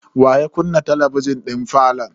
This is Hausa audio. Wa ya kunna talabijin din falon?